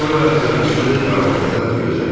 Sonra yağışlı qaranlıqda gözdən itdi.